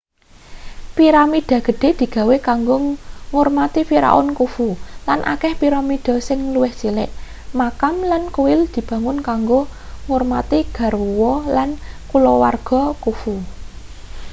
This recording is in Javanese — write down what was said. piramida gedhe digawe kanggo ngurmati firaun khufu lan akeh piramida sing luwih cilik makam lan kuil dibangun kanggo ngurmati garwa lan kaluwargane khufu